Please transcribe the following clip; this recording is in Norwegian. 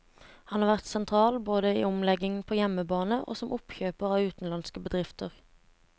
Han har vært sentral både i omleggingen på hjemmebane og som oppkjøper av utenlandske bedrifter.